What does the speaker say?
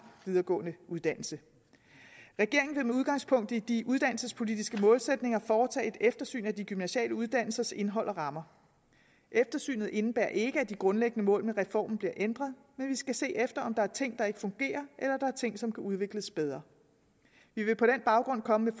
videregående uddannelse regeringen vil med udgangspunkt i de uddannelsespolitiske målsætninger foretage et eftersyn af de gymnasiale uddannelsers indhold og rammer eftersynet indebærer ikke at de grundlæggende mål med reformen bliver ændret men vi skal se efter om der er ting der ikke fungerer eller om er ting som kan udvikles bedre vi vil på den baggrund komme